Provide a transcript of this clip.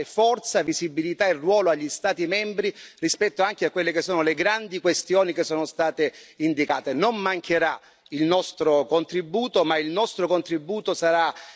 Cambiare dal suo punto di vista organizzativo, dalle scelte e che possa ridare forza, visibilità e ruolo agli Stati membri rispetto anche a quelle che sono le grandi questioni indicate.